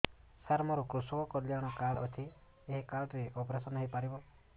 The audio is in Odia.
ସାର ମୋର କୃଷକ କଲ୍ୟାଣ କାର୍ଡ ଅଛି ଏହି କାର୍ଡ ରେ ଅପେରସନ ହେଇପାରିବ